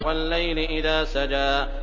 وَاللَّيْلِ إِذَا سَجَىٰ